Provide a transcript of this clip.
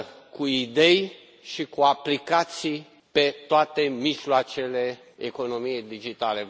cu idei și cu aplicații pe toate mijloacele economiei digitale.